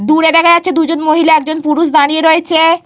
দূরে দেখা যাচ্ছে দুজন মহিলা একজন পুরুষ দাঁড়িয়ে রয়েছে।